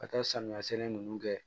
Ka taa samiya sɛnɛ ninnu kɛ